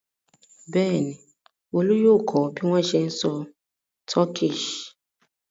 Bẹ́ẹ̀ ni, Olú yóò kọ́ bí wọ́n ṣe ń sọ Turkish.